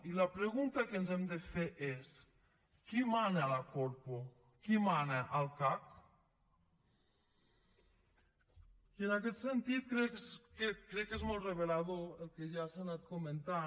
i la pregunta que ens hem de fer és qui mana a la corpo qui mana al cac i en aquest sentit crec que és molt revelador el que ja s’ha anat comentant